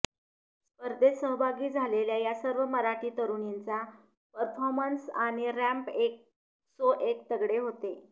स्पधेर्त सहभागी झालेल्या या सर्व मराठी तरुणींचा परफॉर्मन्स आणि रॅम्प एक सो एक तगडे होते